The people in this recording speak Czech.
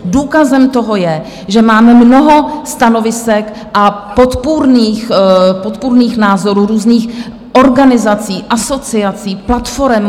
Důkazem toho je, že máme mnoho stanovisek a podpůrných názorů různých organizací, asociací, platforem.